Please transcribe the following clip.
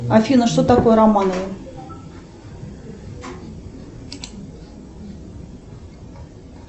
афина что такое романовы